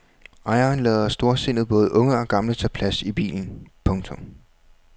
Ejeren lader storsindet både unge og gamle tage plads i bilen. punktum